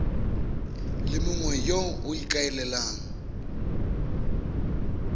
le mongwe yo o ikaelelang